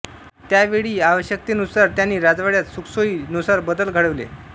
त्यावेळी आवश्यकेनुसार त्यांनी राजवाड्यात सुखसोयी नुसार बदल घडविले